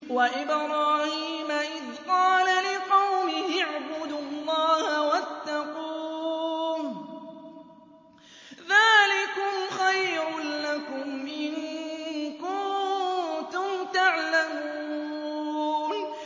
وَإِبْرَاهِيمَ إِذْ قَالَ لِقَوْمِهِ اعْبُدُوا اللَّهَ وَاتَّقُوهُ ۖ ذَٰلِكُمْ خَيْرٌ لَّكُمْ إِن كُنتُمْ تَعْلَمُونَ